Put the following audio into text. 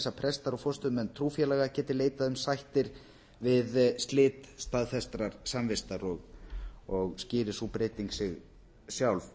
að prestar og forstöðumenn trúfélaga geti leitað um sættir við slit staðfestrar samvistar og skýrir sú breyting sig sjálf